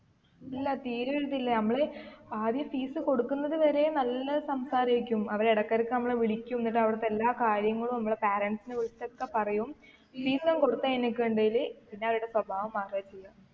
ഇല്ല തീരെ ഒരു ഇതില്ല നമ്മള് ആദ്യ fees കൊടുക്കുന്നത് വരെ നല്ല സംസാരേയ്‌രിക്കും അവര് ഇടക്ക് ഇടക്ക് നമ്മളെ വിളിക്കും എന്നിട്ട് അവിടത്തെ എല്ലാ കാര്യങ്ങളും അമ്മളെ parents നെ വിളിച്ചൊക്കെ പറയും fees ഉം കൊടുത്ത് കഴിഞ്ഞിടക്കുണ്ടേല് പിന്നെ അവരുടെ സ്വഭാവം മാറാ ചെയ്യാ